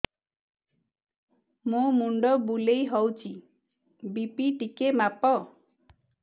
ମୋ ମୁଣ୍ଡ ବୁଲେଇ ହଉଚି ବି.ପି ଟିକେ ମାପ